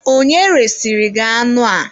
Onye resịrị gị anụ a?